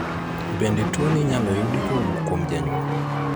Bende tuoni inyalo yudi kowuok kuom janyuol?